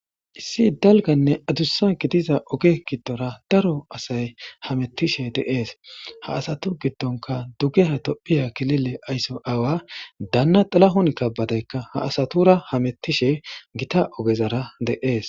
issi dalganne adussa gidiza oge giddora daro asay hamettishe deees ha asatu giddonka dugeha tophiya kilile aysso awa daanna xalahon kabadaykka ha asatura hamettishe gita ogezara de7ees